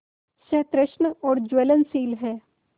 सतृष्ण और ज्वलनशील है